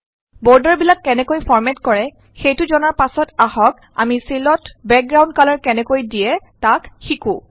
বৰ্ডাৰবিলাক কেনেকৈ ফৰ্মেট কৰে সেইটো জনাৰ পাছত আহক আমি চেলত বেকগ্ৰাউণ্ড কালাৰ কেনেকৈ দিয়ে তাক শিকো